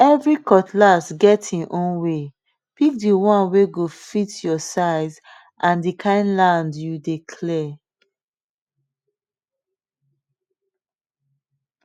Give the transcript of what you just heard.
every cutlass get e own waypick the one wey go fit your size and the kind land you dey clear